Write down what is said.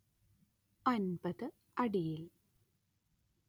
അന്‍പത്ത് അടിയിൽ